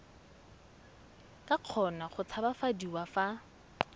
ka kgona go tshabafadiwa fa